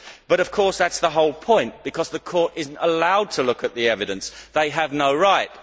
But of course, that is the whole point, because the court is not allowed to look at the evidence they have no right.